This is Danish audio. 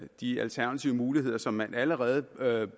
de alternative muligheder som man allerede